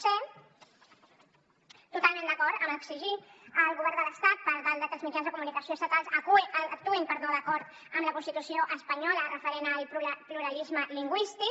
c totalment d’acord amb exigir al govern de l’estat que els mitjans de comunicació estatals actuïn d’acord amb la constitució espanyola referent al pluralisme lingüístic